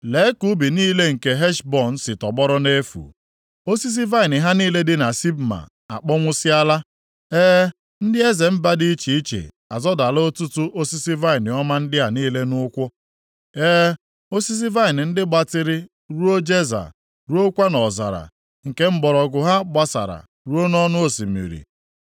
Lee ka ubi niile nke Heshbọn si tọgbọrọ nʼefu; osisi vaịnị ha niile dị na Sibma akpọnwụsịala. E, ndị eze mba dị iche iche azọdala ọtụtụ osisi vaịnị ọma ndị a niile nʼụkwụ. E, osisi vaịnị ndị gbatịrị ruo Jeza, ruokwa nʼọzara, nke mgbọrọgwụ ha gbasara ruo nʼọnụ osimiri.